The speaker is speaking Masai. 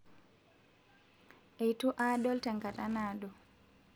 etu aadol tenkata naado